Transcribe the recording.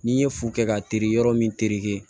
N'i ye fu kɛ ka teri yɔrɔ min terike